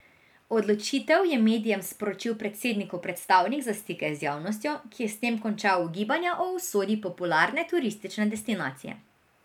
Odločitev je medijem sporočil predsednikov predstavnik za stike z javnostjo, ki je s tem končal ugibanja o usodi popularne turistične destinacije.